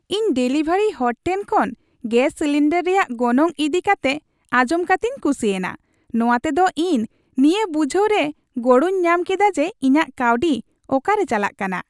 ᱤᱧ ᱰᱮᱞᱤᱵᱷᱟᱨᱤ ᱦᱚᱲ ᱴᱷᱮᱱ ᱠᱷᱚᱱ ᱜᱮᱥ ᱥᱤᱞᱤᱱᱰᱟᱨ ᱨᱮᱭᱟᱜ ᱜᱚᱱᱚᱝ ᱤᱫᱤ ᱠᱟᱛᱮᱜ ᱟᱡᱚᱢ ᱠᱟᱛᱮᱧ ᱠᱩᱥᱤᱭᱮᱱᱟ ᱾ ᱱᱚᱶᱟᱛᱮ ᱫᱚ ᱤᱧ ᱱᱤᱭᱟᱹ ᱵᱩᱡᱷᱟᱹᱣ ᱨᱮ ᱜᱚᱲᱚᱧ ᱧᱟᱢ ᱠᱮᱫᱟ ᱡᱮ ᱤᱧᱟᱹᱜ ᱠᱟᱹᱣᱰᱤ ᱚᱠᱟᱨᱮ ᱪᱟᱞᱟᱜ ᱠᱟᱱᱟ ᱾